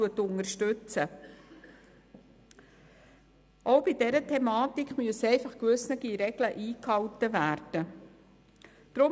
Auch bei dieser Thematik müssen gewisse Regeln eingehalten werden.